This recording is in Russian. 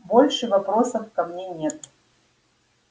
больше вопросов ко мне нет